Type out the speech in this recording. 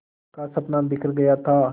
का सपना बिखर गया था